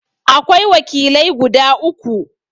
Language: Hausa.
Akwai wakilai guda uku.